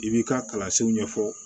I b'i ka kalansenw ɲɛfɔ